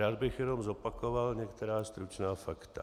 Rád bych jenom zopakoval některá stručná fakta.